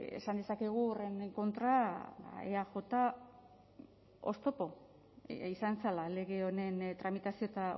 esan dezakegu horren kontra eaj oztopo izan zela lege honen tramitazio eta